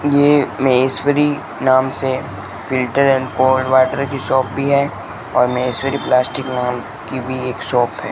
ये माहेश्वरी नाम से फिल्टर एंड कोल्ड वाटर की शॉप भी है और माहेश्वरी प्लास्टिक नाम की भी एक शॉप है।